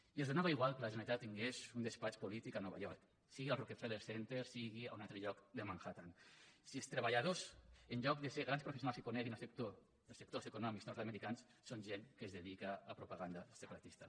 i els donava igual que la generalitat tingués un despatx polític a nova york sigui al rockefeller center sigui a un altre lloc de manhattan si els treballadors en lloc de ser grans professionals que coneguin els sectors econòmics nord americans són gent que es dedica a propaganda separatista